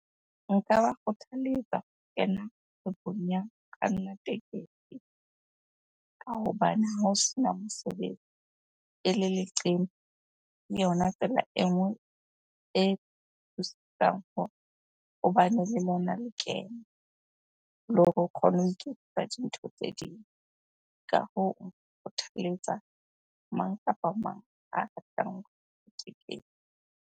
Nka ba kgothaletsa ho kena kgwebong ya kganna tekesi ka hobane ha ho sena mosebetsi ele leqeme, ke yona tsela e nngwe e thusang hore ho bane le lona lekeno le hore o kgone ho iketsetsa dintho tse ding. Ka hoo kgothaletsa mang kapa mang a ratang tekesi.